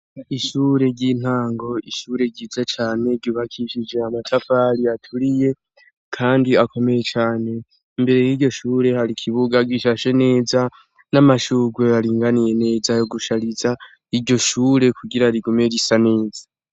Ishure ry'intango ishure ryiza cane gibakishije amatafari aturiye, kandi akomeye cane mbere y'iryo shure hari ikibuga gishashe neza n'amashurwe aringaniye neza yo gushariza iryo shure kugira rigume risa neza.